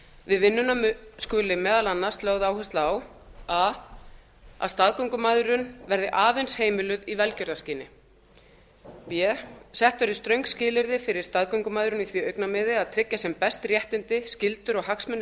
við vinnuna skuli meðal annars lögð áhersla á að a staðgöngumæðrun verði aðeins heimiluð í velgjörðarskyni b sett verði ströng skilyrði fyrir staðgöngumæðrun í því augnamiði að tryggja sem best réttindi skyldur og hagsmuni